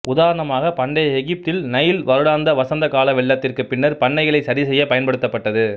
உதாரணமாக பண்டைய எகிப்தில் நைல் வருடாந்த வசந்த கால வெள்ளத்திற்கு பின்னர் பண்ணைகளை சரிசெய்ய பயன்படுத்தப்பட்டது